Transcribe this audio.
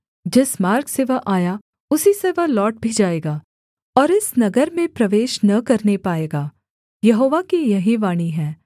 जिस मार्ग से वह आया उसी से वह लौट भी जाएगा और इस नगर में प्रवेश न करने पाएगा यहोवा की यही वाणी है